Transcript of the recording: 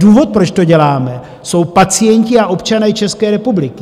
Důvod, proč to děláme, jsou pacienti a občané České republiky.